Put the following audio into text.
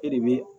E de bɛ